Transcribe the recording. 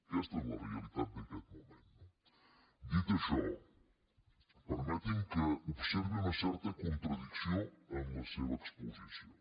aquesta és la realitat d’aquest moment no dit això permeti’m que observi una certa contradicció en la seva exposició